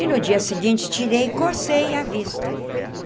E, no dia seguinte, tirei e cocei a vista.